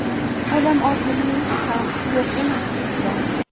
Odamovilik ham yo‘q emasdi unda.